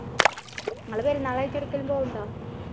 നിങ്ങള് പെരുന്നാൾ ആയിട്ട് എവിടെക്കേലും പോകുന്നുണ്ടാ